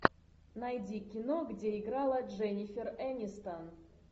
найди кино где играла дженнифер энистон